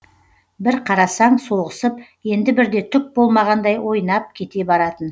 бір қарасаң соғысып енді бірде түк болмағандай ойнап кете баратын